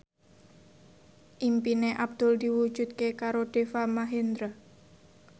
impine Abdul diwujudke karo Deva Mahendra